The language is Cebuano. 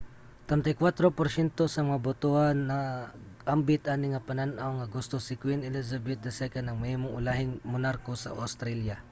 34 porsyento sa mga botohan nag-ambit ani nga panan-aw nga gusto si queen elizabeth ii ang mahimong ulahing monarko sa australia